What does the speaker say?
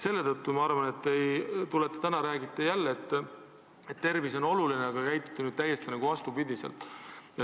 Täna te räägite jälle, et tervis on oluline, aga käitute täiesti vastupidiselt.